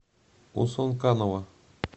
усонканова